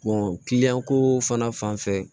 kiliyan ko fana fanfɛ